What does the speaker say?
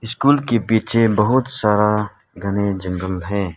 School के पीछे बहुत सारा घने जंगल है।